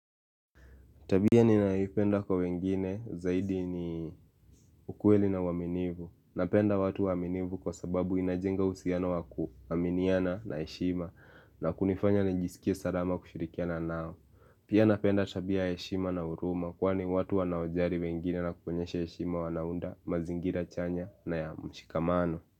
Tabia ni naipenda kwa wengine zaidi ni ukueli na waminivu Napenda watu waminivu kwa sababu inajenga usiano wakuwaminiana na heshima na kunifanya nijisikia salama kushirikiana nao Pia napenda tabia heshima na huruma Kwani watu wanaojari wengine na kuponyesha heshima wanaunda mazingira chanya na ya mshikamano.